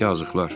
Yazıqlar.